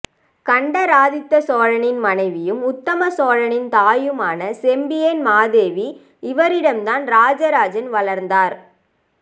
கண்டராதித்த சோழனின் மனைவியும் உத்தமசோழனின் தாயும் ஆன செம்பியன் மாதேவி இவரிடம் தான் ராஜராஜன் வளர்ந்தார்